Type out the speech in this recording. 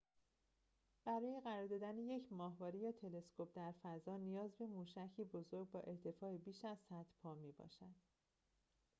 برای قرار دادن یک ماهواره یا تلسکوپ در فضا نیاز به موشکی بزرگ با ارتفاع بیش از ۱۰۰ پا می‌باشد